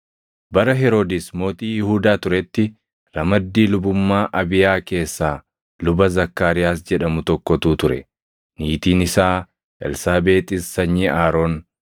Bara Heroodis mootii Yihuudaa turetti ramaddii lubummaa Abiyaa keessaa luba Zakkaariyaas jedhamu tokkotu ture; niitiin isaa Elsaabeexis sanyii Aroon.